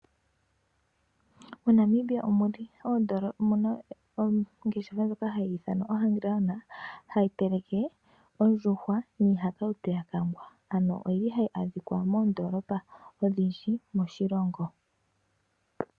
MoNamibia omuna ongeshefa ndjoka hayiithanwa oHungry lion ano ndjono hayi teleke oondjuhwa niihakautu yakangwa ano oyili hayi adhika moondolopa odhindji moshilongo.